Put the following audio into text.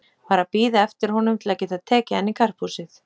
Var að bíða eftir honum til að geta tekið hann í karphúsið.